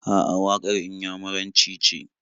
A'a, waƙar Inyamuranci ce.